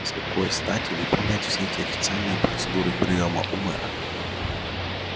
с какой стати выполнять все эти официальные процедуры приёма у мэра